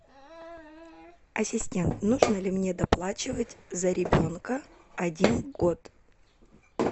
ассистент нужно ли мне доплачивать за ребенка один год